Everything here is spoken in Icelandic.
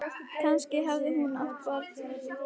Kannski hafði hún átt barn þrátt fyrir allt.